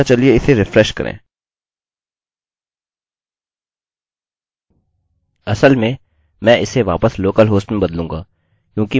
असल में मैं इसे वापस local host में बदलूँगा क्योंकि मैं यहाँ फिर से ट्रैक पर आ रहा हूँ और चलिए रिफ्रेशrefreshकरते हैं